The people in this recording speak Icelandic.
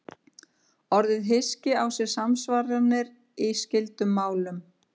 Orðið hyski á sér samsvaranir í skyldum málum.